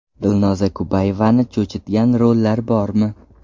Dilnoza Kubayevani cho‘chitgan rollar bormi?